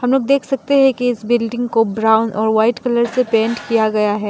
हमलोग देख सकते है की इस बिल्डिंग को ब्राउन और व्हाइट कलर से पेंट किया गया है।